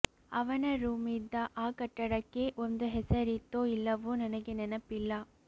ಅವನ ರೂಮಿದ್ದ ಆ ಕಟ್ಟಡಕ್ಕೆ ಒಂದು ಹೆಸರಿತ್ತೋ ಇಲ್ಲವೋ ನನಗೆ ನೆನಪಿಲ್ಲ